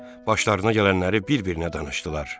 Başlarına gələnləri bir-birinə danışdılar.